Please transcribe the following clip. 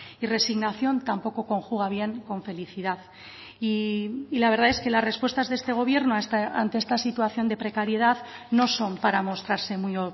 y resignación tampoco conjuga bien con felicidad y la verdad es que las respuestas de este gobierno ante esta situación de precariedad no son para mostrarse muy